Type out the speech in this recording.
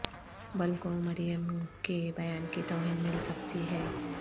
بل کو مریم کے بیان کی توہین مل سکتی ہے